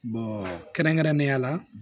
kɛrɛnkɛrɛnnenya la